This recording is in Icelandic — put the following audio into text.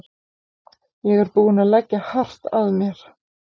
Ég er búinn að leggja hart að mér.